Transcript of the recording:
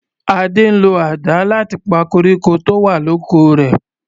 Ade ń lo àdá láti pa koríko tó wà l'oko rè.